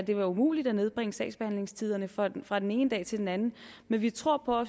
ja umuligt at nedbringe sagsbehandlingstiderne fra den fra den ene dag til den anden men vi tror på